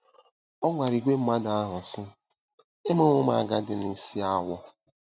Ọ gwara ìgwè mmadụ ahụ, sị: “Emewo m agadi na isi awọ́.